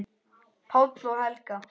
Páll og Helga.